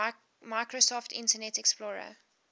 microsoft internet explorer